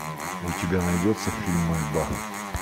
у тебя найдется фильм мольба